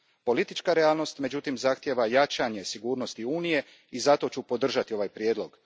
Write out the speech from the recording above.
Politička realnost, međutim, zahtijeva jačanje sigurnosti Unije i zato ću podržati ovaj prijedlog.